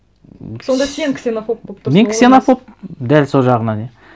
сонда сен ксенофоб болып тұрсың ол емес мен ксенофоб дәл сол жағынан иә